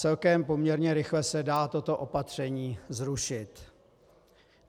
Celkem poměrně rychle se dá toto opatření zrušit.